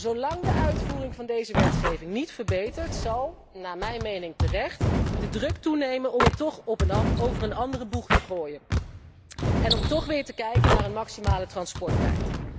Zolang de uitvoering van deze wetgeving niet verbetert, zal naar mijn mening terecht de druk toenemen om het toch over een andere boeg te gooien en om toch weer te kijken naar een maximale transporttijd.